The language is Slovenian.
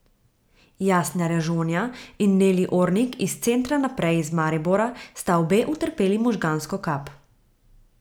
Jasna Režonja in Neli Ornik iz Centra Naprej iz Maribora sta obe utrpeli možgansko kap.